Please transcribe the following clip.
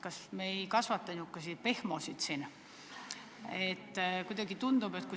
Kas me ei kasvata siin sääraseid pehmosid?